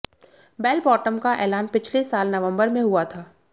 bell bottom का ऐलान पिछले साल नवंबर में हुआ था